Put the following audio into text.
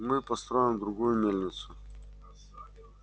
мы построим другую мельницу